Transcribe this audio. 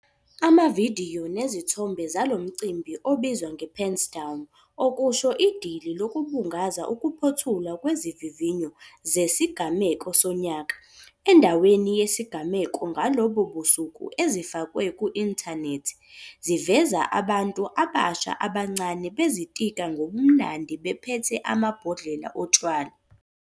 Amavidiyo nezithombe zalo mcimbi obizwa 'nge-pens down', okusho idili lokubungaza ukuphothulwa kwezivivinyo zesigamu sonyaka, endaweni yesigameko ngalobo busuku ezifakwe ku-inthanethi ziveza abantu abasha abancane bezitika ngobumnandi bephethe amabhodlela otshwala.